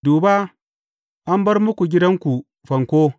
Duba, an bar muku gidanku fanko.